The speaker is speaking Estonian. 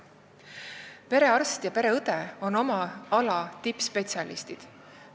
Perearst ja pereõde on oma ala tippspetsialistid.